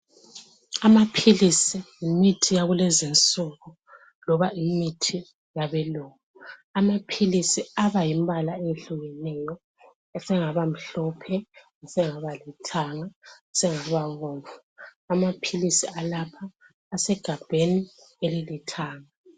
Amapilizi yimithi yakulezinsuku loba imithi yabelungu. Amapilizi aba yimibala ehlukeneyo. Esengaba mhlophe, esengaba lithanga, sengaba bomvu. Amapilisi alapha asegabheni elilithanga.